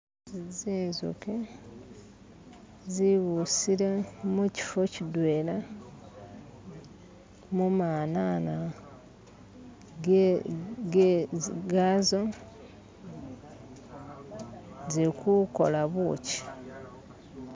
Nzinzuki nzibusile mukifi kidwela mumanana gazo nzi kukola bukyi